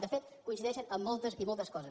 de fet coincideixen en moltes i moltes coses